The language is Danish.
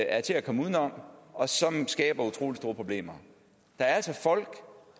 er til at komme uden om og som skaber utrolig store problemer der er altså folk